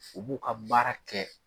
U b'u ka baara kɛ